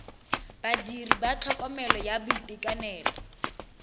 badiri ba tlhokomelo ya boitekanelo